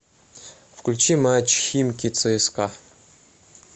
включи матч химки цска